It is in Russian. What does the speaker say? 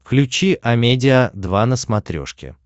включи амедиа два на смотрешке